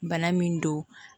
Bana min don